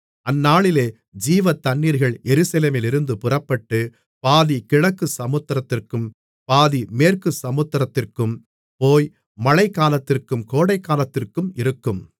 அந்நாளிலே ஜீவதண்ணீர்கள் எருசலேமிலிருந்து புறப்பட்டு பாதி கிழக்குச் சமுத்திரத்திற்கும் பாதி மேற்குச் சமுத்திரத்திற்கும் போய் மழைக்காலத்திற்கும் கோடைக்காலத்திற்கும் இருக்கும்